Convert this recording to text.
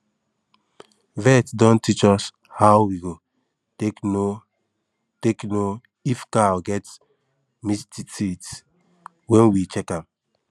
vet don teach us how we go take know take know if cow get mastitis when we check am